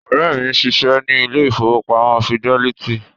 Ọ̀rẹ́ mi ń ṣiṣẹ́ ní ilé ìfowópamọ́ fidẹ́lítì